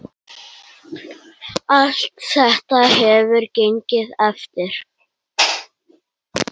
Allt þetta hefur gengið eftir.